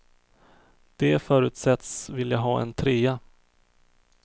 De förutsätts vilja ha en trea.